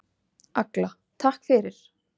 Agla: Takk fyrir.